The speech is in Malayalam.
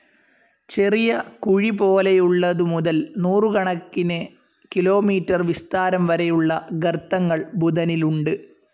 ചെറിയ കുഴിപോലെയുള്ളതു മുതൽ നൂറുകണക്കിന്‌ കിലോമീറ്റർ വിസ്താരം വരെയുള്ള ഗർത്തങ്ങൾ ബുധനിലുണ്ട്.